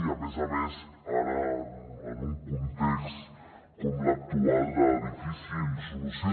i a més a més ara en un context com l’actual de difícil solució